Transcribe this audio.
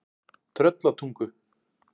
Tröllatungu